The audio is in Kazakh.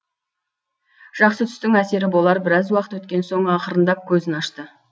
жақсы түстің әсері болар біраз уақыт өткен соң ақырындап көзін ашты